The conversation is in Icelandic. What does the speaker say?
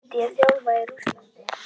Myndi ég þjálfa í Rússlandi?